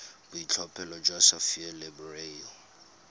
boitlhophelo jwa sapphire le beryl